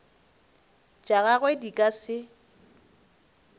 tša gagwe di ka se